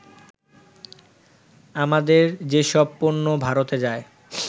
আমাদের যেসব পণ্য ভারতে যায়